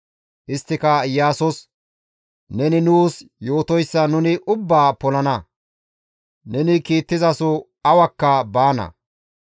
Isttika Iyaasos, «Neni nuus yootoyssa nuni ubbaa polana; ne kiittizaso awakka baana.